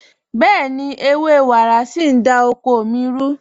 Bẹ̀ẹ̀ni, ẹwẹ́ wàrá sí n dá oko mí rù.